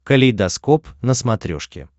калейдоскоп на смотрешке